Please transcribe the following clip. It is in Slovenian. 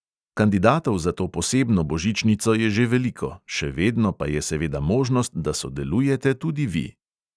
Kandidatov za to posebno božičnico je že veliko, še vedno pa je seveda možnost, da sodelujete tudi vi.